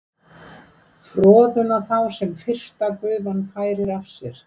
Froðuna þá sem fyrsta gufan færir af sér